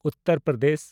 Uttar Pradesh